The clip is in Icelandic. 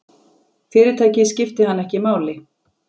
Fyrirtækið skipti hann ekki máli.